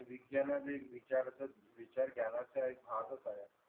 विज्ञाने विचारपूस विचार ज्ञाना एक भाग च हवा